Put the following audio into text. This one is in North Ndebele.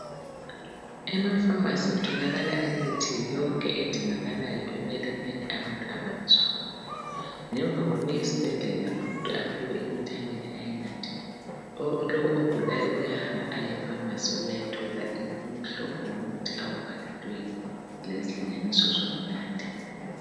Emapharmacy kutholakala imithi yonke edingakalayo ekwelapheni abantu abangezwa kuhle. Ngemva kokuya esibhedlela. Umuntu aphiwe imithi amele ayinathe, Lowo ogulayo, uyahamba aye epharmacy, ukuyathola imihlobo yemithi ayibhalelweyo. Lezilinganiso, zokunatha.